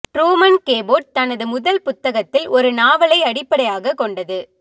Truman Capote தனது முதல் புத்தகத்தில் ஒரு நாவலை அடிப்படையாகக் கொண்டது